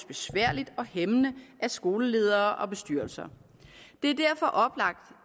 besværligt og hæmmende af skoleledere og bestyrelser det er derfor oplagt